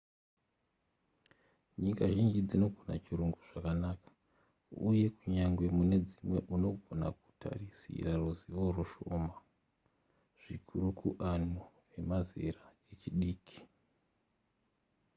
nyika zhinji dzinogona chirungu zvakanaka uye kunyangwe mune dzimwe unogona kutarisira ruzivo rushoma zvikuru kuanhu vemazera echidiki